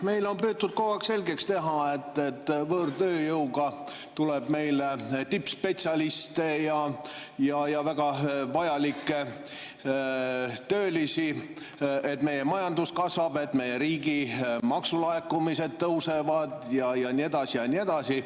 Meile on püütud kogu aeg selgeks teha, et võõrtööjõu seas tuleb meile tippspetsialiste ja väga vajalikke töölisi, et meie majandus kasvab, et meie riigi maksulaekumised tõusevad ja nii edasi ja nii edasi.